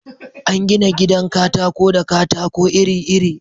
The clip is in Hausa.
An gina gidan katako da katako iri-iri